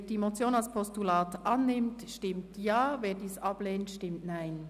Wer die Motion als Postulat annimmt, stimmt Ja, wer dies ablehnt, stimmt Nein.